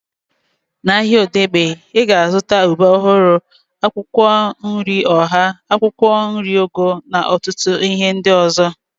Na ahịa Odegbe, ị ga-azụta ube ọhụrụ, akwụkwọ nri ọha, akwụkwọ nri ugu na ọtụtụ ihe ndị ọzọ